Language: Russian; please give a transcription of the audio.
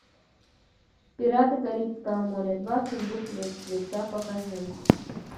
пираты карибского моря два сундук мертвеца покажи